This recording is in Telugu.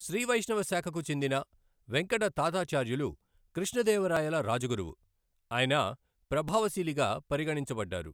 శ్రీ వైష్ణవ శాఖకు చెందిన వెంకట తాతాచార్యులు కృష్ణ దేవరాయల రాజగురువు, ఆయన ప్రభావశీలిగా పరిగణించబడ్డారు.